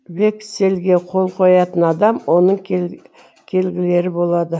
векселге қол қоятын адам оның келгілері болады